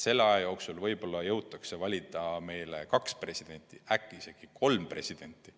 Selle aja jooksul võib-olla jõutakse meile valida kaks presidenti, äkki isegi kolm presidenti.